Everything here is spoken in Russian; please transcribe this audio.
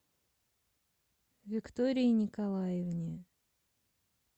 виктории николаевне